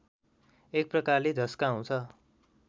एक प्रकारले झस्काउँछ